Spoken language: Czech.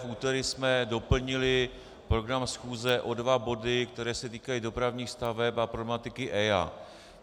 V úterý jsme doplnili program schůze o dva body, které se týkají dopravních staveb a problematiky EIA.